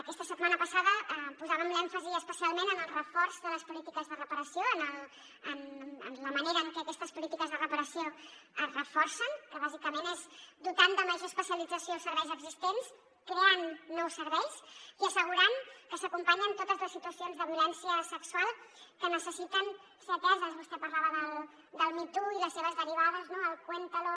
aquesta setmana passada posàvem l’èmfasi especialment en el reforç de les polítiques de reparació en la manera en què aquestes polítiques de reparació es reforcen que bàsicament és dotant de major especialització els serveis existents creant nous serveis i assegurant que s’acompanyen totes les situacions de violència sexual que necessiten ser ateses vostè parlava del me too i les seves derivades el cuéntalo